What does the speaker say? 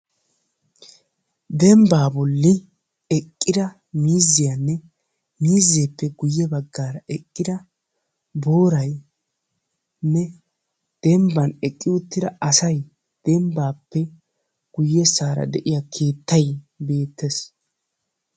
Dembba bolli eqqida miiziyanne miizeppe guyye baggaara eqqida booraynne dembban eqqi uttida asay dembbappe guyyeessara de'iya keettay beettees.